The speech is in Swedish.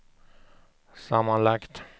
sammanlagt